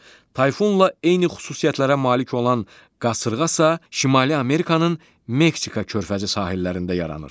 Tayfunla eyni xüsusiyyətlərə malik olan qasırğa isə Şimali Amerikanın Meksika körfəzi sahillərində yaranır.